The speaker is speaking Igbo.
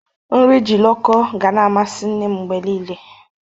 Nri jiloko gana-amasi nne m mgbe niile.